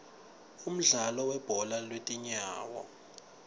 umdlalo webhola lwetinyawo